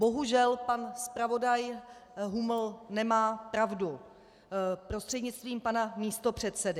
Bohužel pan zpravodaj Huml nemá pravdu, prostřednictvím pana místopředsedy.